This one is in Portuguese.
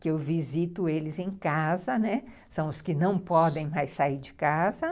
que eu visito eles em casa, né, são os que não podem mais sair de casa.